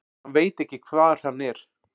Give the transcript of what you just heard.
Hann veit ekki hvar hann er.